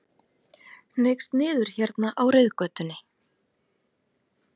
Hneigst niður hérna á reiðgötunni.